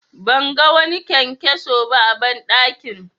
Ban ga wani kyankyaso ba a banɗakin.